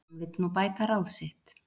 Hann vill nú bæta ráð sitt